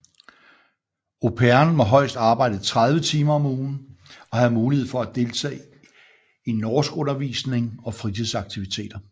Au pairen må højst arbejde 30 timer om ugen og have mulighed for at deltage i norskundervisning og fritidsaktiviteter